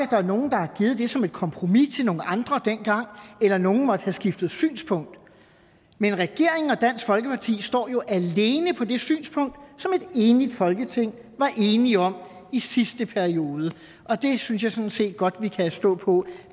det er som et kompromis til nogle andre dengang eller at nogle måtte have skiftet synspunkt men regeringen og dansk folkeparti står jo alene på det synspunkt som et enigt folketing var enige om i sidste periode og det synes jeg sådan set godt vi kan stå på